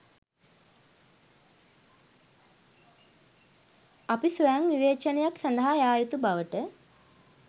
අපි ස්වයංවිවේචනයක් සඳහා යා යුතු බවට